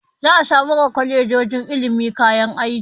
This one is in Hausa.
Za a samar wa kwalejoji ilimi kayan aiki.